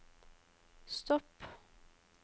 stopp